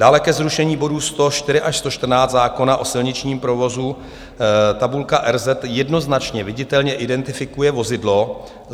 Dále ke zrušení bodů 104 až 114 zákona o silničním provozu: tabulka RZ jednoznačně viditelně identifikuje vozidlo.